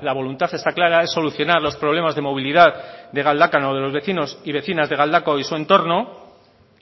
la voluntad está clara es solucionar los problemas de movilidad de galdakao de los vecinos y vecinas de galdakao y su entorno